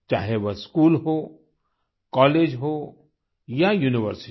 चाहे वो स्कूल हो कॉलेज हो या यूनिवर्सिटी